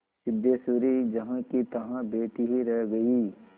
सिद्धेश्वरी जहाँकीतहाँ बैठी ही रह गई